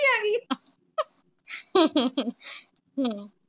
ਹੂੰ ਹੂੰ ਹੂੰ।